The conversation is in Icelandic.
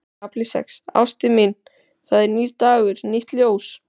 KAFLI SEX Ástin mín, það er nýr dagur, nýtt ljós.